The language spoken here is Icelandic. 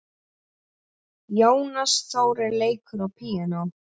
Jónas Þórir leikur á píanó.